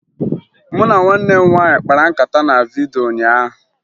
Mụ na nwanne m nwaanyị kpara nkata na vidyo ụnyaahụ